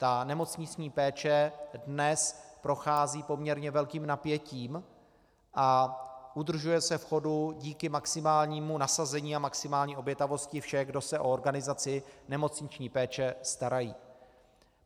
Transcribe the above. Ta nemocniční péče dnes prochází poměrně velkým napětím a udržuje se v chodu díky maximálnímu nasazení a maximální obětavosti všech, kdo se o organizaci nemocniční péče starají.